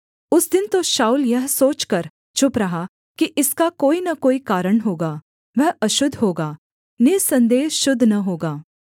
उस दिन तो शाऊल यह सोचकर चुप रहा कि इसका कोई न कोई कारण होगा वह अशुद्ध होगा निःसन्देह शुद्ध न होगा